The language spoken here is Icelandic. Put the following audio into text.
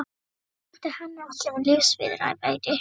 Nú örvænti hann ekki um lífsviðurværi.